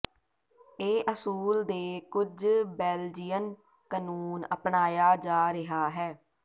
ਇਹ ਅਸੂਲ ਦੇ ਕੁਝ ਬੈਲਜੀਅਨ ਕਾਨੂੰਨ ਅਪਣਾਇਆ ਜਾ ਰਿਹਾ ਹੈ